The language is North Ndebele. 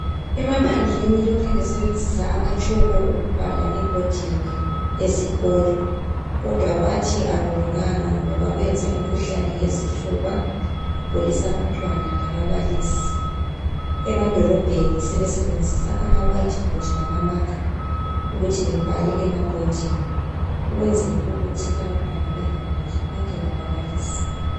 Emaphandleni lokhe besebenzisa amatshoko ukubhala ebhodini ezikolo kodwa bathi akulunganga ngoba kwenza imikhuhlane yezifuba, kugulisa abantwana lababalisi. Emadolobheni sebesebenzisa amawhiteboard lamamarker ukuthi bebhale emabhodini ukwenzela ukuthi abantwana bengaguli konke lababalisi.